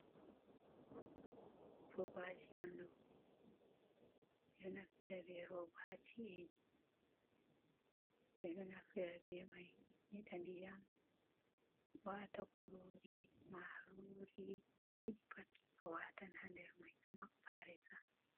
Robaji onɗo, ɓeɗon naftira robaji ha ci'eji, ɓeɗon naftira bee mai nyeɗa diyam , waata kurori, marori ko'a yiɗi pat awatan ha nder mai amabɓa aresa.